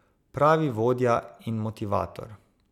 Pravi vodja in motivator.